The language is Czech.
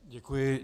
Děkuji.